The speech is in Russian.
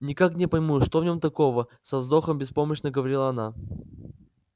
никак не пойму что в нем такого со вздохом беспомощно говорила она